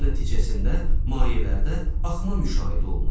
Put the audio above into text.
Bunun nəticəsində mayelərdə axma müşahidə olunur.